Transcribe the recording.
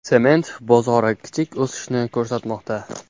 Sement bozori kichik o‘sishni ko‘rsatmoqda.